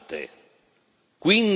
Parole sante.